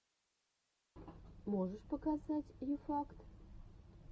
можешь показать ю факт